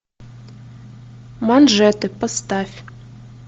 манжеты поставь